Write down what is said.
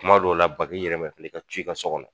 Kuma dɔw la bag'i yɛrɛma i keleen ka co i ka sɔ kɔnɔ